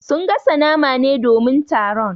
Sun gasa nama ne domin taron.